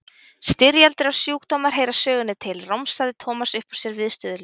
Styrjaldir og sjúkdómar heyra sögunni til, romsaði Thomas upp úr sér viðstöðulaust.